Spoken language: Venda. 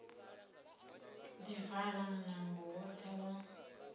ḓi vala munango woṱhe wa